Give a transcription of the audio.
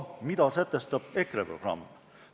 Mida sätestab EKRE programm?